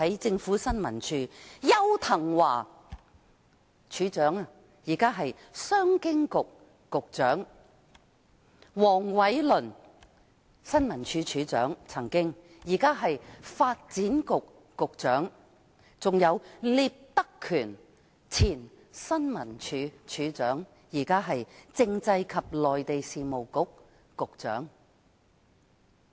前新聞處處長邱騰華，現出任商務及經濟發展局局長；另一前任處長黃偉綸，現出任發展局局長；還有聶德權，也曾出任處長，現已為政制及內地事務局局長。